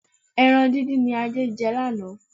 Ẹran díndín ni Adé jẹ lánàá.